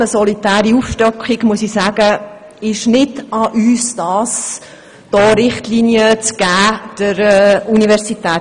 Auch dies ist eine solitäre Aufstockung, und es ist nicht an uns, der Universität hier Richtlinien zu geben.